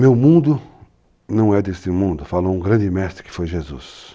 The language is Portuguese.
Meu mundo não é deste mundo, falou um grande mestre que foi Jesus.